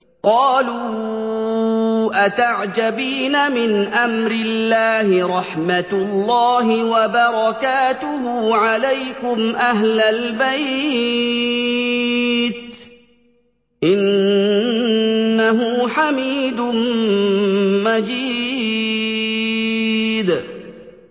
قَالُوا أَتَعْجَبِينَ مِنْ أَمْرِ اللَّهِ ۖ رَحْمَتُ اللَّهِ وَبَرَكَاتُهُ عَلَيْكُمْ أَهْلَ الْبَيْتِ ۚ إِنَّهُ حَمِيدٌ مَّجِيدٌ